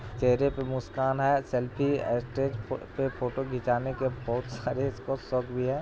चेहरे पे मुस्कान है सेल्फ़ी स्टेज पे फ़ोटो खिंचाने के बहोत सारे इसको शौक भी है।